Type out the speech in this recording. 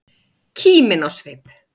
Kímin á svip.